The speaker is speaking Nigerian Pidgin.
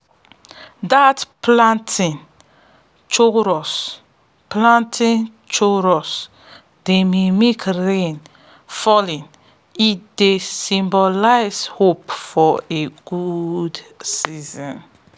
dat planting chorus planting chorus dey mimic rain falling e dey symbolize hope for a good season